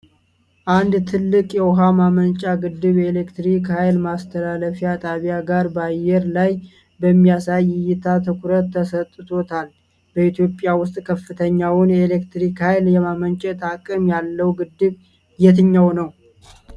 አንድ ትልቅ የውኃ ማመንጫ ግድብ የኤሌክትሪክ ኃይል ማስተላለፊያ ጣቢያ ጋር በአየር ላይ በሚያሳይ እይታ ትኩረት ተሰጥቶታል። በኢትዮጵያ ውስጥ ከፍተኛውን የኤሌክትሪክ ኃይል የማመንጨት አቅም ያለው ግድብ የትኛው ነው?